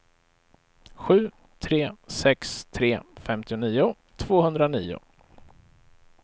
sju tre sex tre femtionio tvåhundranio